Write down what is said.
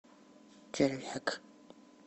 червяк